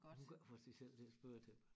Hun kan ikke få sig selv til at spørge til dem